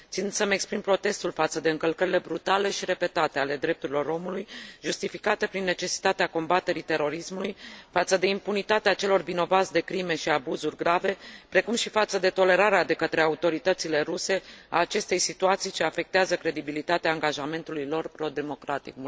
Țin să mi exprim protestul față de încălcările brutale și repetate ale drepturilor omului, justificate prin necesitatea combaterii terorismului, față de impunitatea celor vinovați de crime și abuzuri grave, precum și față de tolerarea de către autoritățile ruse a acestei situații ce afectează credibilitatea angajamentului lor pro democratic.